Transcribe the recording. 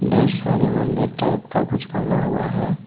ढेर सारे मंदिर टाइप का कुछ बना हुआ है।